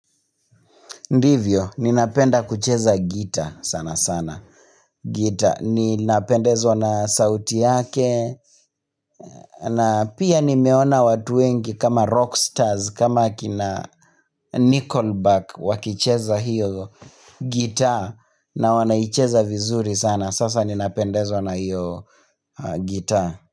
Ndivyo, ninapenda kucheza gitaa sana sana, gitaa ninapendezwa na sauti yake na pia nimeona watu wengi kama rockstars, kama kina nickelback wakicheza hiyo gitaa na wanaicheza vizuri sana, sasa ninapendezwa na hiyo gitaa.